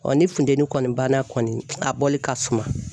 ni funteni kɔni banna kɔni a bɔli ka suma.